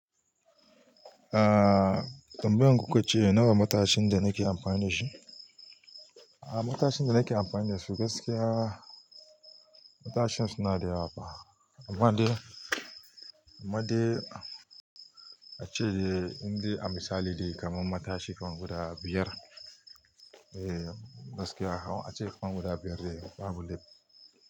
Ah, tambayar ku ka ce nawa matashin da nake amfani da shi? Ah, matashin da nake amfani da shi gaskiya matashin suna da yawa fa. Amma dai, amma dai ace de in de a misali de kamar matashi kaman guda biyar. Eh gaskiya ace kaman guda biyar de babu laifi.